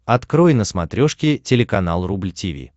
открой на смотрешке телеканал рубль ти ви